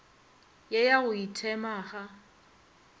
ye ya go ithema ga